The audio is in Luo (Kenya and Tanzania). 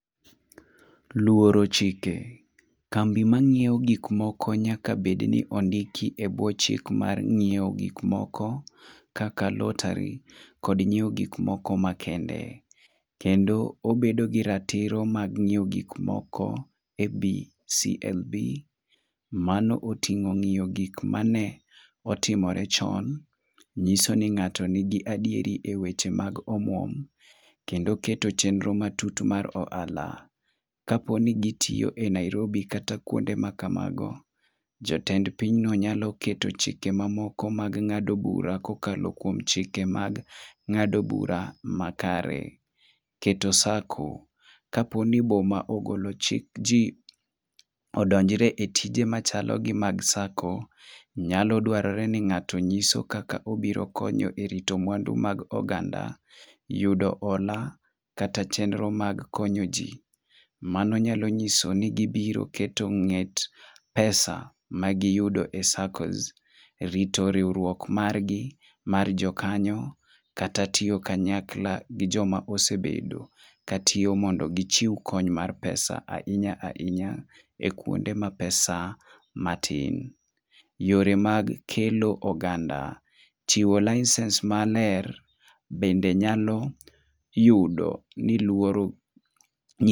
Luoro chike: kambi mang'iewo gik moko nyaka bed ni ondiki e bwo chik mar ng'iewo gik moko kaka lottery kod nyiewo gik moko makende, kendo obedo gi ratiro mar nyiewo gik moko e BCMB. Mano oting'o gik mane otimre chon, nyiso ni ng'ato nigi adieri e weche mag omwom ,kendo keto chenro matut mar ohala. Kapo ni gitiyo e nairobi kata kuonde ma kamago, jatend pinyno nyalo keto chike mamoko mag ng'ado bura kokalo kuom chike mag ng'ado bura makare. Keto sacco: kapo ni boma ogolo chik jii odonjre e tijhe machalo gi mag sacco, nyalo dwarore ni ng'ato nyiso kaka obiro koyo e rito mwandu mag oganda .Yudo hola kata chenro mag konyo jii: mano nyalo nyiso ni gibiro kedo ng'et pesa e saccos rito riwruok mar gi mar jokanyo kata tiyo kanyakla gi joma osebedo ka tiyo mondo gichiw kony mar pesa ahinya hinya, e kuonde ma pesa matin. Yor mag kelo oganda chiwo, licence maler bende nyalo yudo ni luoro